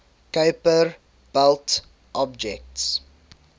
kuiper belt objects